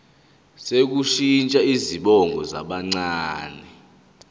sokushintsha izibongo zabancane